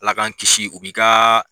Ala k'an kisi , u bi ka